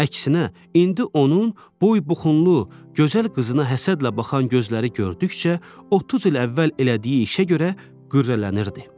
Əksinə, indi onun boy-buxunlu, gözəl qızına həsədlə baxan gözləri gördükcə, 30 il əvvəl elədiyi işə görə qürrələnirdi.